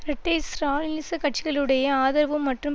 ரெட்டை ஸ்ராலினிச கட்சிகளுடைய ஆதரவு மற்றும்